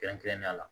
Kɛrɛnkɛrɛnnenya la